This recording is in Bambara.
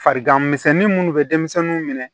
Fariganmisɛnnin minnu bɛ denmisɛnninw minɛ